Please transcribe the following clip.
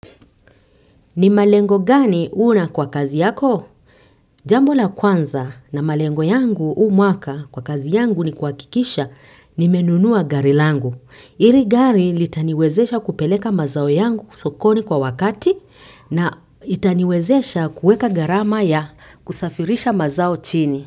Ni malengo gani huna kwa kazi yako? Jambo la kwanza na malengo yangu huu mwaka kwa kazi yangu ni kuhakikisha nimenunua gari langu. Hili gari litaniwezesha kupeleka mazao yangu sokoni kwa wakati na itaniwezesha kuweka gharama ya kusafirisha mazao chini.